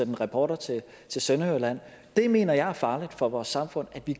en reporter til sønderjylland det mener jeg er farligt for vores samfund at vi